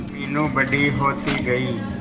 मीनू बड़ी होती गई